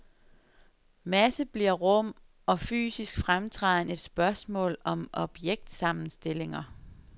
Masse bliver rum, og fysisk fremtræden et spørgsmål om objektsammenstillinger.